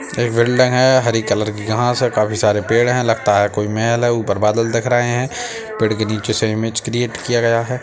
एक बिल्डिंग है हरी कलर की घास है काफी सारे पेड़ है लगता है कोई महल है ऊपर बादल दिख रहे है पेड़ के नीचे क्रीऐट किया गया है ।